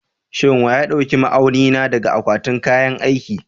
Shin wa ya ɗauki ma'auni na daga akwatin kayan aiki?